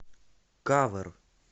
кавер